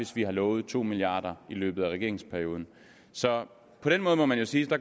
hvis vi har lovet to milliard i løbet af regeringsperioden så på den måde må man jo sige